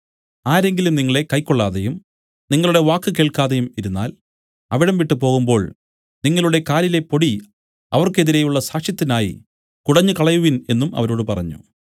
ആരെങ്കിലും നിങ്ങളെ കൈക്കൊള്ളാതെയും നിങ്ങളുടെ വാക്ക് കേൾക്കാതെയും ഇരുന്നാൽ അവിടം വിട്ടു പോകുമ്പോൾ നിങ്ങളുടെ കാലിലെ പൊടി അവർക്കെതിരെയുള്ള സാക്ഷ്യത്തിനായി കുടഞ്ഞുകളയുവിൻ എന്നും അവരോട് പറഞ്ഞു